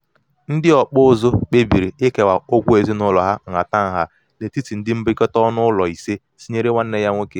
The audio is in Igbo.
ndị ọkpụ ụzụ kpebiri ikewa ụgwọ ezinụlọ ha nhatanha n'etiti ndị mbikọta ọnụụlọ ise tinyere nwanne ya nwoke.